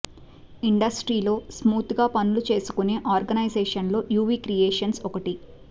ఇండస్ట్రీలో స్మూత్ గా పనులు చేసుకునే ఆర్గనైజేషన్లలో యువి క్రియేషన్స్ ఒకటి